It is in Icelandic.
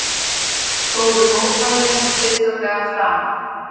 Fóru mótmælin friðsamlega fram